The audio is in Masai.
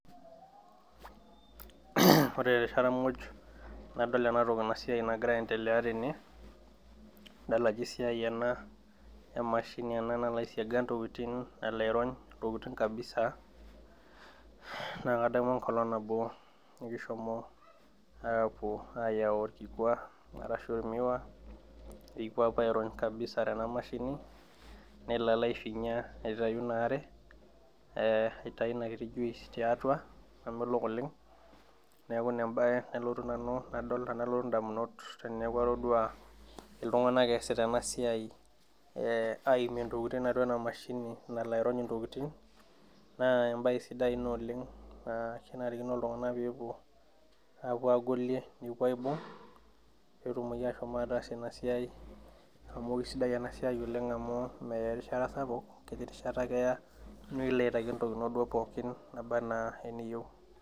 Ore taara muj nadol ena ntokii ena siai nagira aendelea tene nadol ajoo siai ana emashini naloo aisiaga ntokitin naloo airony' intokiting' kabisaa. Naa kadamu nkolong naboo nikishomoo apoo ayau lkikwaa arashu miwa nipoo apaa airony' kabisaa tena mashini neloo aifinyaa aitaiyuu naa aare, ee aitaii enia kitii juiis te atua namolook oleng. Neaku nebaya nalotuu nanu nadol nadoluu ndamunot teneaku atodua ltung'ana aasita ena siai aimie ntoking' atua ena mashinii naloo airony' ntokitin. Naa ebayi sidai ana oleng naa kanarikino ltung'ana pee epoo apuoo aigolie nepoo aibung'u pee etuum apuo aas enia siai amu kesidai ana sia oleng amu meyaa erishata sapuk nkitii erishata ake eyaa nileet ntokitin enoo pooki abaa naa niyeu.